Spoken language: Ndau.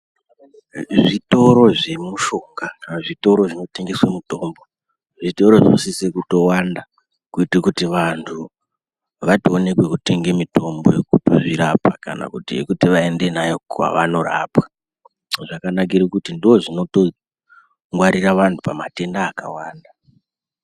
Zvitoro zvemushoka kana zvitoro zvinotengeswe mitombo, zvitoro zvinosise kutowanda kuito kuti vantu vatoone pekutotenga mitombo yekutozvirapa kana kuti yekuti vaende nayo kwavanorapwa. Zvakanakire kuti ndozvinotongwarira vanhu pamatenda akawanda.